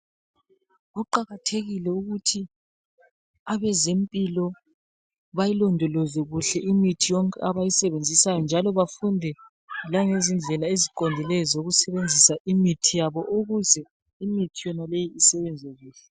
Kuqakathekile ukuthi abezempilo bayilondoloze kuhle imithi yonke abayisebenzisayo .Njalo bafunde langezindlela eziqondileyo zokusebenzisa imithi yabo . Ukuze imithi yonaleyi isebenze kuhle .